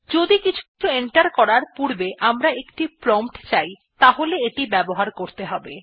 যদি কিছু এন্টার করার পূর্বে আমরা একটি প্রম্পট চাই তাহলে এটি ব্যবহার করতে হবে